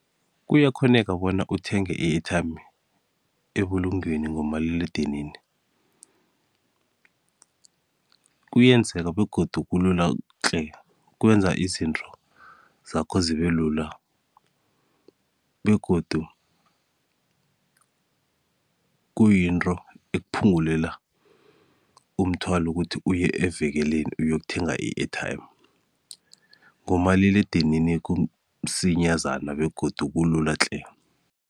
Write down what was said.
Kuyakghoneka bona uthenge i-airtime ebulungweni ngomaliledinini kuyenzeka begodu kulula tle kwenza izinto zakho zibe lula begodu kuyinto ekuphungulela umthwalo ukuthi uye evekeleni uyokuthenga i-airtime, ngomaliledinini kumsinyazana begodu kulula tle.